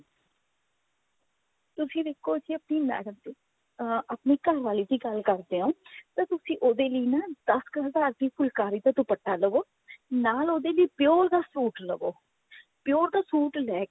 ਤੁਸੀਂ ਦੇਖੋ ਜੇ ਆਪਣੀ madam ਅਹ ਆਪਣੀ ਘਰਵਾਲੀ ਦੀ ਗੱਲ ਕਰਦੇ ਹਾਂ ਤਾਂ ਤੁਸੀਂ ਉਹਦੇ ਲਈ ਨਾ ਦਸ ਕ ਹਜ਼ਾਰ ਦੀ ਫੁਲਕਾਰੀ ਦਾ ਦੁਪੱਟਾ ਲਵੋ ਨਾਲ ਉਹਦੇ ਲਈ pure ਦਾ suit ਲਵੋ pure ਦਾ suit ਲੈਕੇ